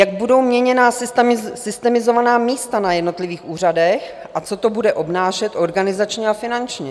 Jak budou měněna systemizovaná místa na jednotlivých úřadech a co to bude obnášet organizačně a finančně?